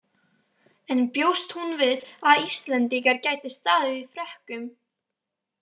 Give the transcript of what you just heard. En bjóst hún við að Íslendingar gætu staðið í Frökkum?